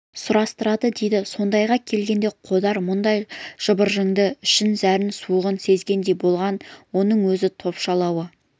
сұрастырады дейді осындайға келгенде қодар мұндай жыбырдың ішкі зәрін суығын сезгендей болған оның өз топшылауы